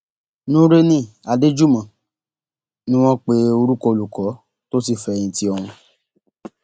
nureni adéjúmọ ni wọn pe orúkọ olùkọ tó ti fẹyìntì ọhún